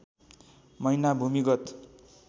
महिना भूमिगत